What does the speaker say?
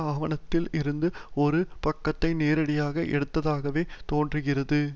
ஆவணத்தில் இருந்து ஒரு பக்கத்தை நேரடியாக எடுத்ததாகவே தோன்றுகிறது